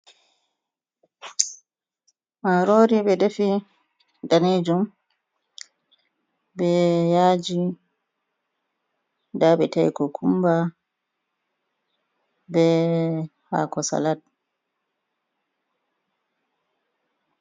Marori ɓe defi, danejum, be yaaji. Nda ɓe ta'i kokumba, be haako salat.